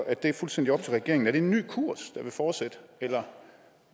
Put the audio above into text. at det er fuldstændig op til regeringen er det en ny kurs der vil fortsætte eller